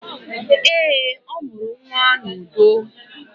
Eé, ọ mụrụ nnwa n'udo.